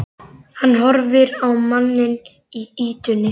Hann horfir á manninn í ýtunni.